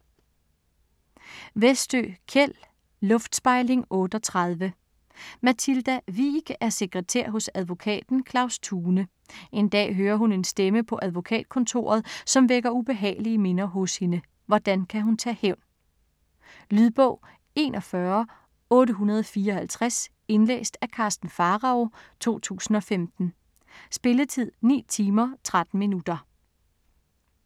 Westö, Kjell: Luftspejling 38 Mathilda Wiik er sekretær hos advokaten Claus Thune. En dag hører hun en stemme på advokatkontoret, som vækker ubehagelige minder hos hende. Hvordan kan hun tage hævn? Lydbog 41854 Indlæst af Karsten Pharao , 2015. Spilletid: 9 timer, 13 minutter.